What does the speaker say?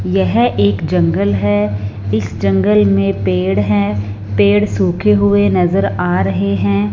यह एक जंगल है इस जंगल में पेड़ हैं पेड़ सूखे हुए नजर आ रहे हैं।